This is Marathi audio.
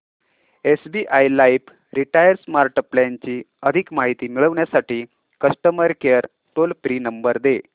SBI life retire smart plan ची अधिक माहिती मिळविण्यासाठी customer care toll free number दे